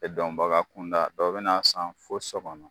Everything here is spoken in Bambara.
E dɔnbaga kunda dɔ be na san fo sɔ kɔnɔ